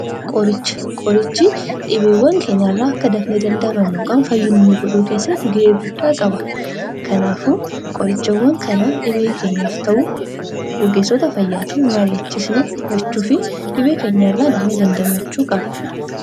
Qoricha: Qorichi dhibeewwan keenya irraa akka dafnee damdamannu yookaan akka fayyinu nu gochuu keessatti gahee guddaa qaba. Kanaafuu qorichawwan kana dhibee keenyaaf ta'u ogeessota fayyaatti marii'achiisanii fudhachuu fi dhibee keenya irraa dafnee damdamachuu qabna.